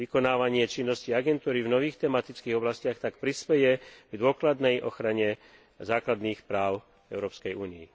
Vykonávanie činnosti agentúry v nových tematických oblastiach tak prispeje k dôkladnej ochrane základných práv v Európskej únii.